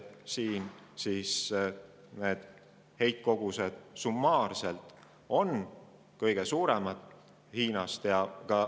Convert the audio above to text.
Summaarsed heitkogused on kõige suuremad Hiinal.